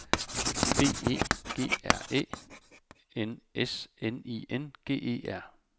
B E G R Æ N S N I N G E R